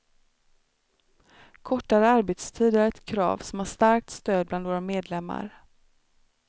Kortare arbetstid är ett krav som har starkt stöd bland våra medlemmar.